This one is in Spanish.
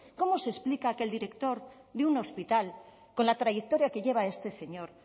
cómo se explica que el director de un hospital con la trayectoria que lleva este señor